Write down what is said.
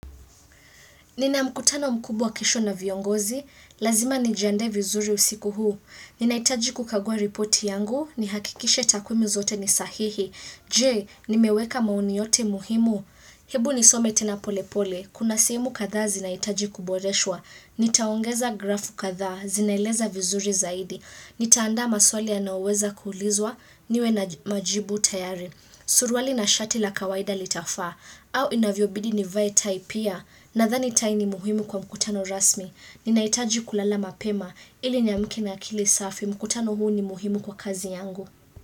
Nina mkutano mkubwa kesho na viongozi, lazima nijiandae vizuri usiku huu. Nina hitaji kukagua reporti yangu, nihakikishe takwimu zote nisahihi. Je, nimeweka maoni yote muhimu. Hebu nisome tena pole pole, kuna sehemu kathaa zina hitaji kuboreshwa. Nitaongeza grafu kathaa, zinaeleza vizuri zaidi. Nitaanda maswali yanayoweza kuulizwa, niwe na majibu tayari. Surwali na shati la kawaida litafaa, au inavyobidi nivae tai pia. Na thani tai ni muhimu kwa mkutano rasmi. Ninaitaji kulala mapema ili namke na akili safi. Mkutano huu ni muhimu kwa kazi yangu.